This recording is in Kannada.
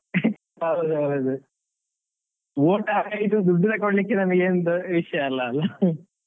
ಹೌದು ಹೌದು vote ಹಾಕದಿದ್ರು, ದುಡ್ಡು ತಗೊಳಿಕ್ಕೆ ನಮಿಗೇನು ದೊಡ್ ವಿಷಯ ಅಲ್ಲ ಅಲಾ .